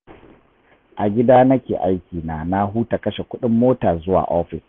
A gida nake aikina, na huta kashe kuɗin mota zuwa ofis